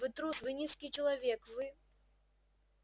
вы трус вы низкий человек вы